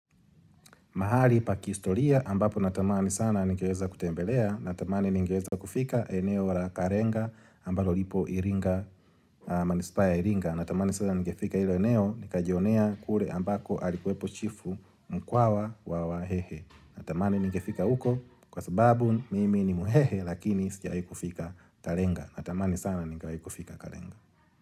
Mahali pa kihistoria ambapo natamani sana nigeweza kutembelea, natamani nigeweza kufika eneo wa la karenga ambalo lipo iringa, manispa ya iringa. Natamani sana nigefika ilo eneo, nikajionea kule ambako alikuwepo chifu mkwawa wa wahehe. Natamani ningefika uko, kwa sababu mimi ni muhehe, lakini sijawai kufika tarenga. Natamani sana ningewai kufika karenga.